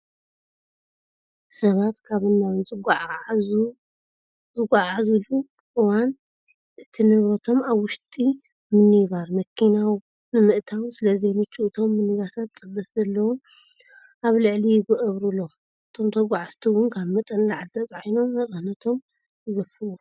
ሰባት ካብን ናብን ኣብ ዝጓዓዓዝለዑ እዋን እቲ ንብረቶም ኣብ ውሽጢ ሚኒባር (መኪና) ንምእታው ስለዘይምችው እቶም ሚኒባሳት ፅበት ስለዘለዎም ኣብ ላዕሊ ይገብርሎም እቶም ተጓዓዝቲ እውን ካብ መጠን ንላዕሊ ተፂዕኖም ነፃነቶም ይገፍዎም።